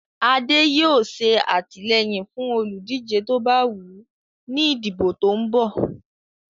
Adé yóò ṣe àtìlẹ́yìn fún olùdíje tó bá wù ú ní ìdìbò tó ń bọ́ ọ̀.